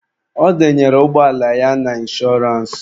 Ọ denyere ụgbọala ya na inshọrance.